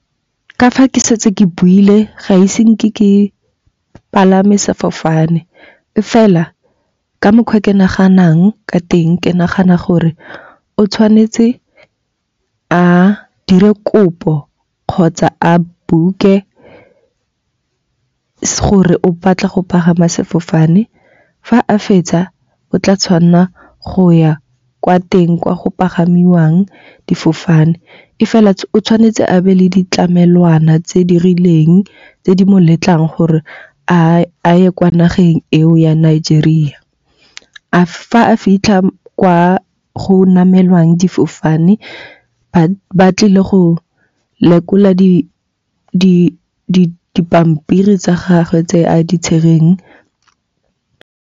Ka fa ke setse ke buile ga ise nke ke palame sefofane. E fela ka mokgwa ke naganang ka teng, ke nagana gore o tshwanetse a dire kopo kgotsa a book-e gore o batla go pagama sefofane. Fa a fetsa o tla tshwanela go ya kwa teng kwa go pagamiwang difofane. E fela o tshwanetse a be le ditlamelwana tse di rileng tse di mo letlang gore a ye kwa nageng eo ya Nigeria. Fa a fitlha kwa go namelwang difofane ba tlile go lekola dipampiri tsa gagwe tse a di tsereng.